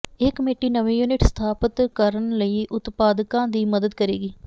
ਇਹ ਕਮੇਟੀ ਨਵੇਂ ਯੂਨਿਟ ਸਥਾਪਤ ਕਰਨ ਲਈ ਉਤਪਾਦਕਾਂ ਦੀ ਮਦਦ ਕਰੇਗੀ